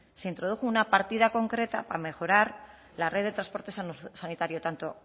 se introdujo una partida concreta para mejorar la red de transporte sanitario tanto